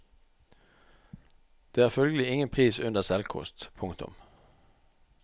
Det er følgelig ingen pris under selvkost. punktum